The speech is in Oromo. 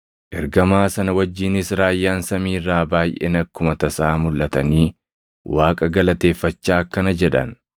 Ergamaa sana wajjinis raayyaan samii irraa baayʼeen akkuma tasaa mulʼatanii Waaqa galateeffachaa akkana jedhan;